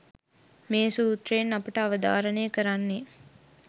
මේ සූත්‍රයෙන් අපට අවධාරණය කරන්නේ